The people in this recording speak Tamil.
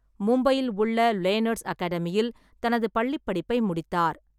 மும்பையில் உள்ள லேனர்ஸ் அகாடமியில் தனது பள்ளிப்படிப்பை முடித்தார்.